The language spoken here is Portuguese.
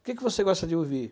O que você gosta de ouvir?